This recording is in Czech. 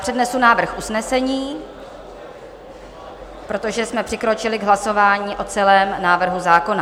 Přednesu návrh usnesení, protože jsme přikročili k hlasování o celém návrhu zákona.